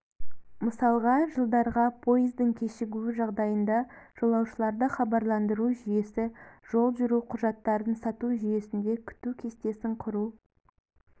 мысалға жылдарға поездың кешігуі жағдайында жолаушыларды хабарландыру жүйесі жол жүру құжаттарын сату жүйесінде күту кестесін құру